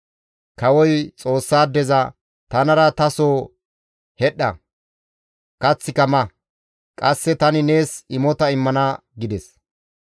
Kawoy Xoossaadeza, «Tanara taso hedhdha; kaththika ma. Qasse tani nees imota immana» gides.